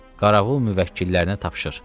Qaravul müvəkkillərinə tapşır.